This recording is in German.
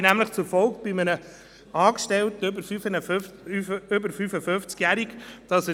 Ja; sämtliche aufgeführten Prüfungsideen Michel und fortfolgende: